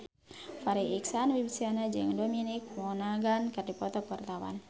Farri Icksan Wibisana jeung Dominic Monaghan keur dipoto ku wartawan